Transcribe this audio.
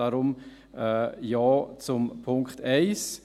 Deshalb: Ja zum Punkt 1.